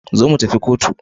Zo mutafi Cotu